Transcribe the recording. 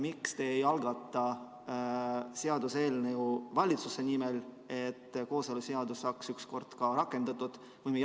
Miks te ei algata valitsuse nimel seaduseelnõu, et kooseluseadus saaks ükskord ka rakendatud?